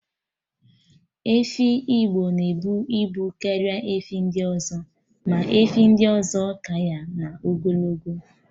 Efi Igbo na-ebu ibu karịa efi ndị ọzọ, ma efi ndị ọzọ ka ya n'ogologo